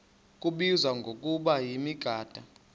kubizwa ngokuba yimigaqo